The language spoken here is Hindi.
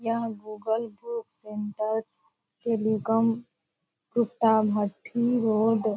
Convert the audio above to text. यह गूगल बुक सेंटर टेलीकॉम कुत्ता भट्ठी रोड --